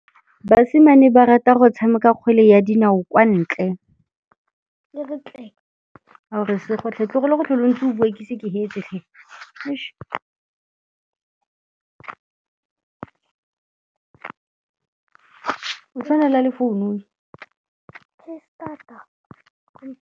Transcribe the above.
Basimane ba rata go tshameka kgwele ya dinaô kwa ntle.